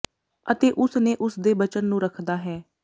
ਅਤੇ ਉਸ ਨੇ ਉਸ ਦੇ ਬਚਨ ਨੂੰ ਰੱਖਦਾ ਹੈ